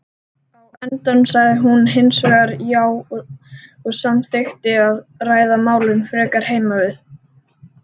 Á endanum sagði hún hinsvegar já og samþykkti að ræða málin frekar heima við.